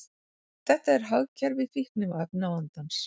Þetta er hagkerfi fíkniefnavandans.